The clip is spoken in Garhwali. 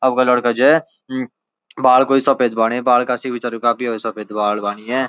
अबका लडका जै म बाल क्वि सफ़ेद बाणे बाल कासी बिचारियु काफी ह्वे सफ़ेद बाल वाणी यै।